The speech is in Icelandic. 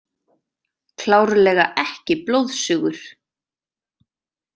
Klárlega ekki blóðsugur.